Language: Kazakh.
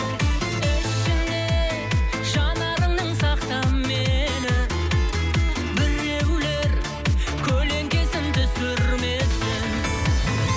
ішіне жанарыңның сақта мені біреулер көлеңкесін түсірмесін